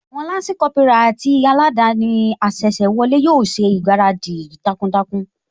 Àwọn Lansi Kópírà àti aladani asese wọlé yóò ṣègbáradì takuntakun